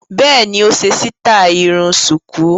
Bẹ́ẹ̀ni, ó ṣe sítáì irun ṣùkú.